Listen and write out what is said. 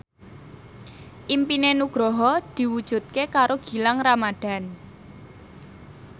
impine Nugroho diwujudke karo Gilang Ramadan